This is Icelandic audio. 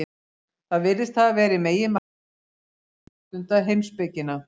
Það virðist hafa verið meginmarkmið hans, að geta ástundað heimspekina.